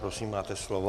Prosím, máte slovo.